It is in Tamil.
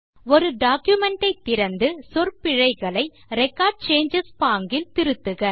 ஒரு டாக்குமென்ட் ஐ திறந்து சொற்பிழைகளை ரெக்கார்ட் சேஞ்சஸ் பாங்கில் திருத்துக